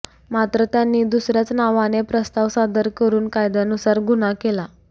मात्र त्यांनी दुसऱ्याच नावाने प्रस्ताव सादर करुन कायद्यानुसार गुन्हा केला